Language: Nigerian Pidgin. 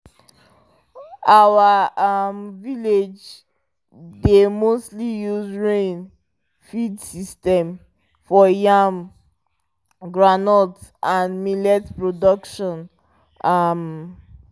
our um village dey mostly use rain fed system for yam groundnut and millet production um